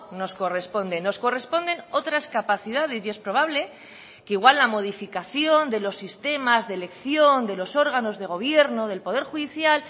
nos corresponde nos corresponden otras capacidades y es probable que igual la modificación de los sistemas de elección de los órganos de gobierno del poder judicial